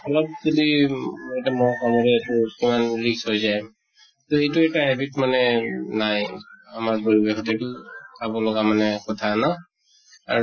অলপ যদি এটা মহ কামুৰে এইতো কিমান risk হৈ যায় । তʼ এইটো এটা habit মানে উম নাই, আমাৰ পৰিৱেশত । এইটো চাব লগা কথা মানে ন আৰু